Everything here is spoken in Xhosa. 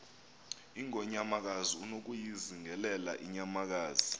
ingonyamakazi unokuyizingelela inyamakazi